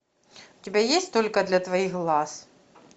у тебя есть только для твоих глаз